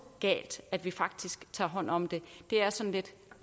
galt at vi faktisk tager hånd om det det er sådan lidt